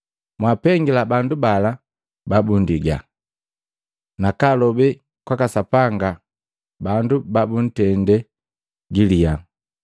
Mwapengila bandu bala babundiga, nakalobe kwaka Sapanga bandu babuntende galiya.